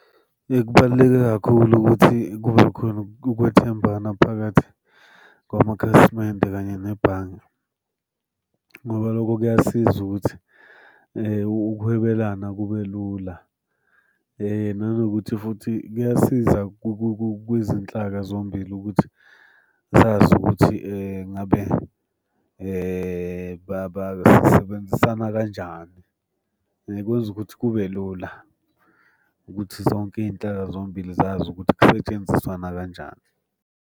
Kubaluleke kakhulu ukuthi kube khona ukwethembana phakathi kwamakhasimende kanye nebhange, ngoba loko kuyasiza ukuthi ukuhwebelana kube lula, nanokuthi futhi kuyasiza kwizinhlaka zombili ukuthi zazi ukuthi ngabe basebenzisana kanjani. Kwenza ukuthi kube lula ukuthi zonke iy'nhlaka zombili zazi ukuthi kusetshenziswana kanjani.